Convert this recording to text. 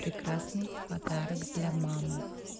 прекрасный подарок для мамы